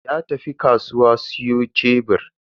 Ya tafi kasuwa siyo shebur.